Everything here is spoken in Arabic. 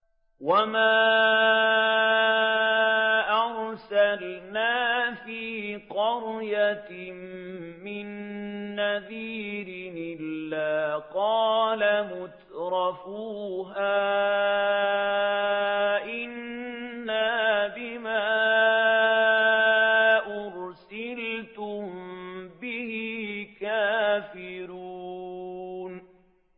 وَمَا أَرْسَلْنَا فِي قَرْيَةٍ مِّن نَّذِيرٍ إِلَّا قَالَ مُتْرَفُوهَا إِنَّا بِمَا أُرْسِلْتُم بِهِ كَافِرُونَ